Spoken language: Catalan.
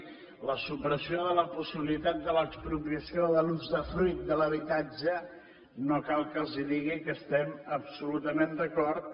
en la supressió de la possibilitat de l’expropiació de l’usdefruit de l’habitatge no cal que els digui que hi estem absolutament d’acord